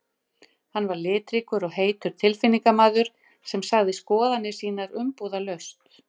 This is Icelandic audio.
Hann var litríkur og heitur tilfinningamaður sem sagði skoðanir sínar umbúðalaust.